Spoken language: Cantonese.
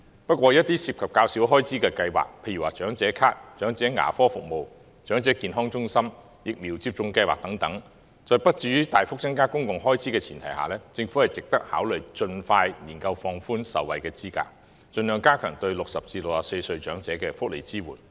不過，一些涉及較少開支的計劃，例如長者咭、長者牙科服務、長者健康中心、疫苗接種計劃等，在不致於大幅增加公共開支的前提下，政府值得考慮盡快研究放寬受惠資格，盡量加強對60歲至64歲長者的福利支援。